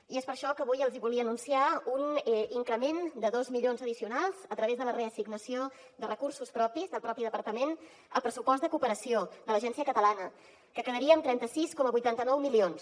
i és per això que avui els hi volia anunciar un increment de dos milions addicionals a través de la reassignació de recursos propis del propi departament al pressupost de cooperació de l’agència catalana que quedaria en trenta sis coma vuitanta nou milions